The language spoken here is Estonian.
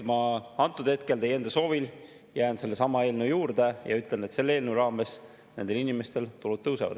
Ma antud hetkel teie enda soovil jään sellesama eelnõu juurde ja ütlen, et selle eelnõu raames nendel inimestel tulud tõusevad.